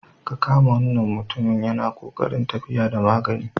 Ka kama wannan mutumin yana ƙoƙarin tafiya da magani.